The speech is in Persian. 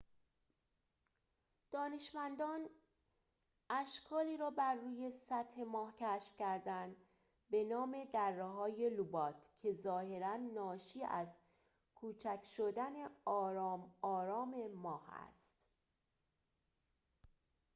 دانشمندان اشکالی را بروی سطح ماه کشف کردند به نام دره‌های لوبات که ظاهراً ناشی از کوچک شدن آرام آرام ماه است